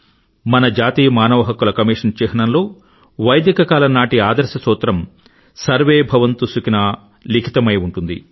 మన జాతీయ మానవ హక్కుల కమిషన్ చిహ్నాంలో వైదిక కాలం నాటి ఆదర్శ సూత్రం సర్వే భవంతు సుఖిన అంకితమై ఉంది